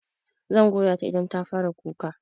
Zan goya ta idan ta fara kuka.